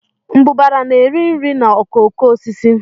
Mbụbara na-eri nri na okooko osisi